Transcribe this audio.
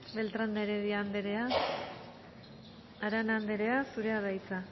beltrán de heredia anderea arana anderea zurea da hitza